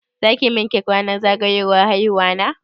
Za ki min cake ranar zagayowar haihuwana?